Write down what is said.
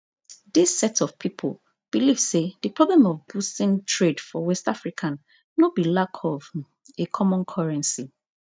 dis set of pipo believe say di problem of boosting trade for west african no be lack of um a common currency